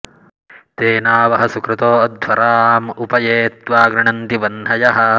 तेना वह सुकृतो अध्वराँ उप ये त्वा गृणन्ति वह्नयः